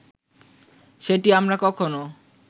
সেটি আমরা কখনো